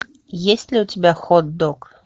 есть ли у тебя хот дог